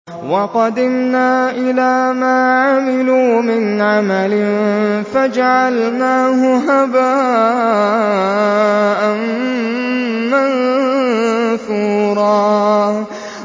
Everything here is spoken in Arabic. وَقَدِمْنَا إِلَىٰ مَا عَمِلُوا مِنْ عَمَلٍ فَجَعَلْنَاهُ هَبَاءً مَّنثُورًا